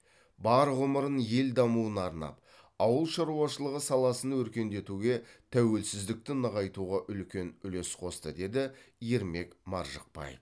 бар ғұмырын ел дамуына арнап ауыл шаруашылығы саласын өркендетуге тәуелсіздікті нығайтуға үлкен үлес қосты деді ермек маржықпаев